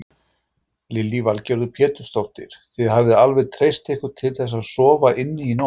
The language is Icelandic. Lillý Valgerður Pétursdóttir: Þið hafið alveg treysti ykkur til þess að sofa inni í nótt?